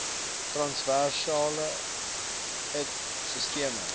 transversale it sisteme